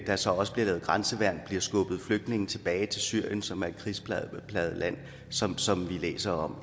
der så også bliver lavet grænseværn og skubbet flygtninge tilbage til syrien som er et krigsplaget land sådan som vi læser om